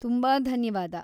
ತುಂಬಾ ಧನ್ಯವಾದ!